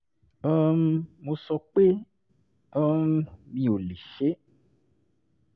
um mo sọ pé um mi ò lè ṣe é